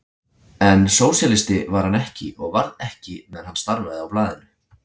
En sósíalisti var hann ekki og varð ekki meðan hann starfaði á blaðinu.